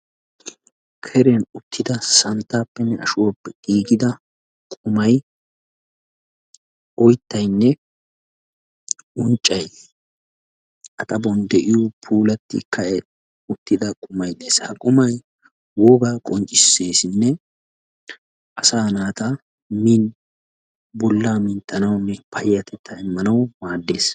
Keriyan uttida santtaappenne ashuwappe giigida qumay, oyttaynne unccay A xaphon de'iyo puulattu ka'i uttida qumay dees. Ha qumay wogaa qonccisseesinne asaa naata min bollaa minttanawunne payyatettaa immanawu maaddees.